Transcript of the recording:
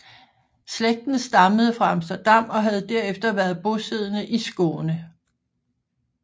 Slægten stammede fra Amsterdam og havde derefter været bosiddende i Skåne